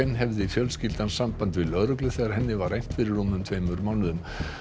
hefði fjölskyldan samband við lögreglu þegar henni var rænt fyrir tveimur mánuðum